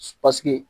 Paseke